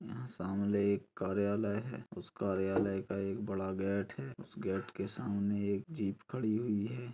यहाँ सामने एक कार्यालय है उस कार्यालय का एक बड़ा गेट है उस गेट के सामने एक जीप खडी हुई है।